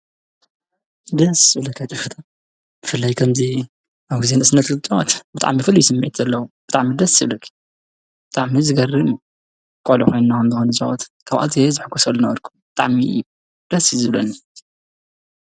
ደስ ዝብለካ ጨወታ ብፍላይ ከምዚ ኣብ ግዜ ንእስነት እትትጫወት ብጣዕሚ ፍሉይ ስምዒት ዘለዎ ብጣዕሚ ደስ ይብለካ ብጣዕሚ ዝገርም እዩ:: ቆልዑ ኮይንና እንትንፃወት ካብ ዝሕጎሰሉዝነበርኩ ብጣዕሚ እዩ ደስ ዝብለኒ፡፡